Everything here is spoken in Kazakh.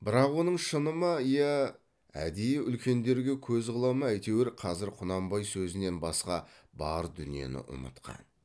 бірақ оның шыны ма иә әдейі үлкендерге көз қыла ма әйтеуір қазір құнанбай сөзінен басқа бар дүниені ұмытқан